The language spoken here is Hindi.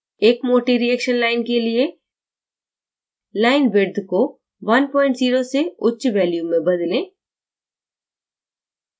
एक मोटी reaction line के लिये line width को 10 से उच्च value में बदलें